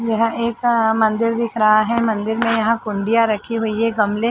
यह एक अ मंदिर दिख रहा है। मंदिर में यहाँ कुंडिया रखी हुई हैं। गमले --